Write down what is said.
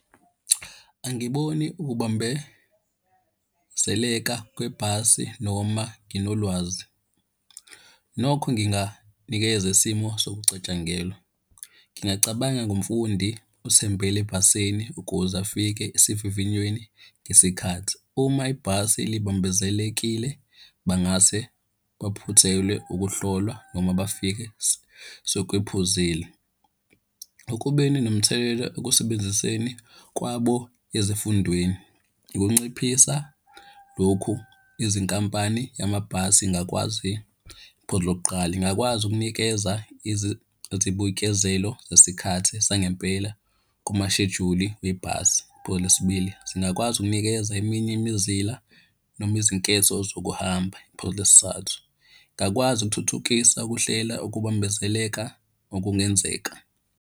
Angiboni ukubambezeleka kwebhasi noma nginolwazi. Nokho nginganikeza isimo sokucatshangelwa. Ngingacabanga ngomfundi othembele ebhasini ukuze afike esivivinyweni ngesikhathi. Uma ibhasi libambezelekile, bangase baphuthelwe ukuhlolwa noma bafike sekwephuzile. Ekubeni nomthelela ekusebenziseni kwabo ezifundweni. Ukunciphisa lokhu, izinkampani yamabhasi ingakwazi, iphuzu lokuqala, ingakwazi ukunikeza izibuyikezelo zesikhathi sangempela kumashejuli webhasi. Phuzu lesi bili, zingakwazi ukunikeza eminye imizila noma izinketho zokuhamba. Phuzu lesi thathu, ngakwazi ukuthuthukisa ukuhlela ukubambezeleka okungenzeka.